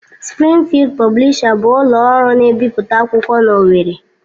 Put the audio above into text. Sprịngfịld Pọblisha bụ ụlọ ọrụ na-ebipụta akwụkwọ n'Owerri